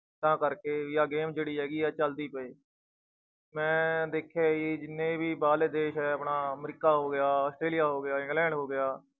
ਤਾਂ ਕਰਕੇ ਵੀ ਆਹ game ਜਿਹੜੀ ਹੈਗੀ ਆ ਚੱਲਦੀ ਪਏ ਮੈਂ ਦੇਖਿਆ ਕਿ ਜਿੰਨੇ ਵੀ ਬਾਹਰਲੇ ਦੇਸ ਹੈ ਆਪਣਾ ਅਮਰੀਕਾ ਹੋ ਗਿਆ ਹੈ, ਆਸਟਰੇਲੀਆ ਹੋ ਗਿਆ, ਇੰਗਲੈਂਡ ਹੋ ਗਿਆ,